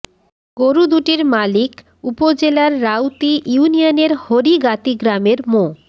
গরু দুটির মালিক উপজেলার রাউতি ইউনিয়নের হরিগাতী গ্রামের মো